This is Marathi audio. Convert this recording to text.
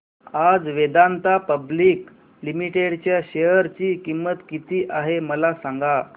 आज वेदांता पब्लिक लिमिटेड च्या शेअर ची किंमत किती आहे मला सांगा